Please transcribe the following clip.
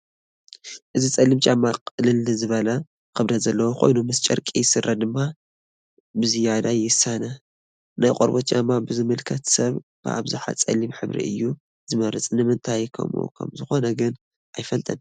እዚ ፀሊም ጫማ ቅልል ዝበለ ክብደት ዘለዎ ኮይኑ ምስ ጨርቂ ስረ ድማ ብዝያዳ የሳኒ፡፡ ናይ ቆርበት ጫማ ብዝምልከት ሰብ ብኣብዝሓ ፀሊም ሕብሩ እዩ ዝመርፅ፡፡ ንምንታይ ከምኡ ከምዝኾነ ግን ኣይፍለጥን፡፡